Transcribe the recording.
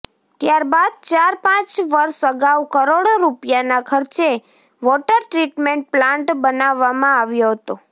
ત્યારબાદ ચાર પાંચ વર્ષ અગાઉ કરોડો રૂપિયાનાં ખર્ચે વોટર ટ્રીટમેન્ટ પ્લાન્ટ બનાવવામાં આવ્યો હતો